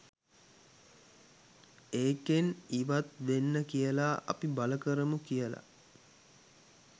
ඒකෙන් ඉවත් වෙන්න කියලා අපි බල කරමු කියලා